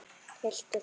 Tylltu þér.